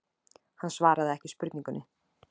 Hann svaraði ekki spurningunni.